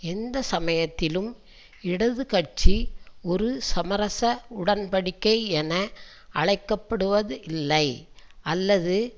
எந்த சமயத்திலும் இடது கட்சி ஒரு சமரச உடன் படிக்கை என அழைக்க படுவது இல்லை அல்லது